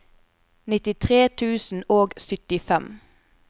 nittitre tusen og syttifem